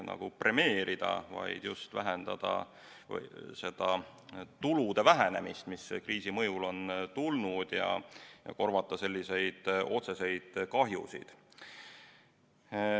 vähendada seda tulude vähenemist, mis kriisi mõjul on tulnud, ja korvata otsest kahju.